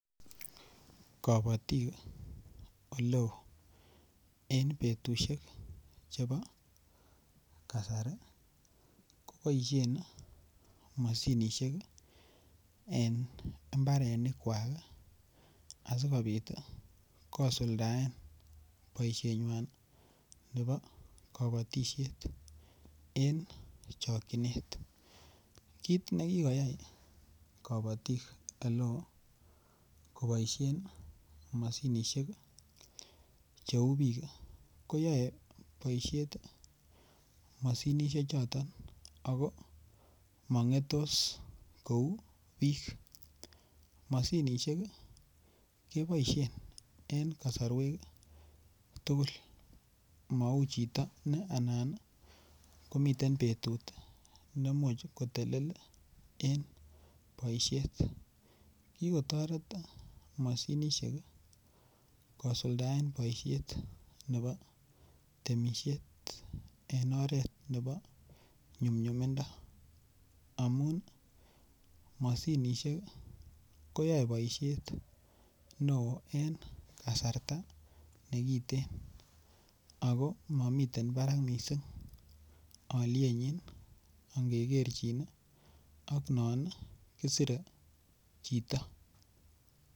Kabatik oleo eng betushek chepo kasari koboisyen mashinishek eng imbarenik kwak asikobit kosuldoen boisyenywan nebo kabatisyet eng chokyinet ,kit nekikotai kabatik eleo koboisyen mashinishek cheu bik, koyae boisyet mashinishek choton ako mangetos kou bik , mashinishek keboisyen eng kasarwek tukul Manu chito ne anan komiten betut neimuch kotelel eng boisyet , kikotoret mashinishek kosuldoen boisyet nebo temisyet eng oret nebo nyumnyumindo amun mashinishek koyae boisyet neo eng kasarta nekiten ako mamiten barak mising alyenyin ingekerchin ak non kisire chito.